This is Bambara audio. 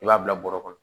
I b'a bila bɔrɔ kɔnɔ